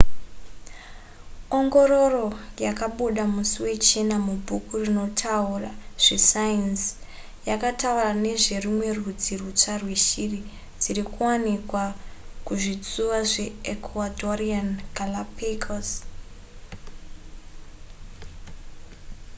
ongororo yakabuda musi wechina mubhuku rinotaura zvesainzi yakataura nezverumwe rudzi rwutsva rweshiri dziri kuwanikwa kuzvitsuwa zveecuadorean galápagos